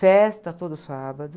Festa todo sábado.